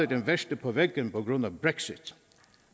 det værste på væggen på grund af brexit